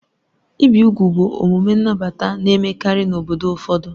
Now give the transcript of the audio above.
Ibi úgwù bụ omume nnabata na-emekarị n'obodo ụfọdụ.